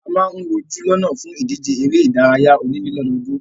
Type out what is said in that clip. A máa ń wojú lọ́nà fún ìdíje eré ìdárayá onílé lọ́dọọ́dún.